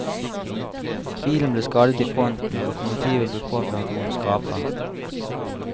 Bilen ble skadet i fronten og lokomotivet ble påført noen skraper.